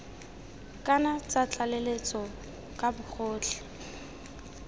kana tsa tlaleletso ka bogotlhe